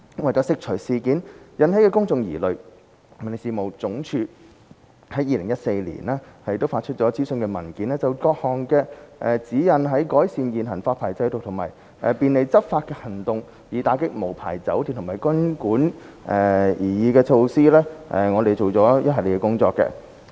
為釋除事件引起的公眾疑慮，民政事務總署於2014年發出諮詢文件，就各項指引在改善現行發牌制度及便利執法行動，以打擊無牌酒店及賓館的擬議措施方面，做了一系列的工作。